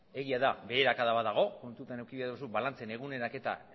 egia da beherakada bat dago kontutan eduki behar duzu balantzen eguneraketa